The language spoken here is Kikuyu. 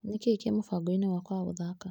Nĩkĩĩ kĩ mũbango-inĩ wakwa wa gũthaka?